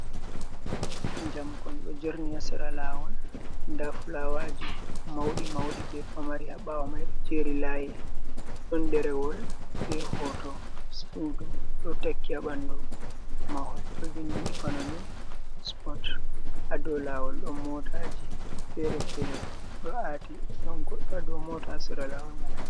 Jamkon ɗo jerni ha sera lawol, nda fulawaji mauɗi mauɗi, be pamari ha ɓawo mai ɗo jeri layi, ɗon derewol be hoto sudu ɗo taki ha ɓanɗu mahol ɗo vindi economy spot, ha dou lawol ɗon motaji fere-fere ɗo aati ɗon goɗɗo ha dou mota ha sera lawol man.